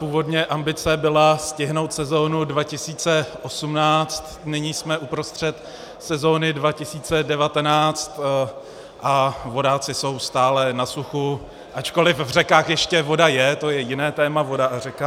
Původně ambice byla stihnout sezonu 2018, nyní jsme uprostřed sezony 2019 a vodáci jsou stále na suchu, ačkoliv v řekách ještě voda je, to je jiné téma, voda a řeka.